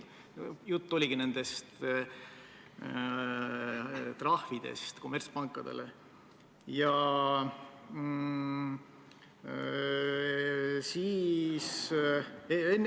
Jutt oligi nendest kommertspankadele määratavatest trahvidest.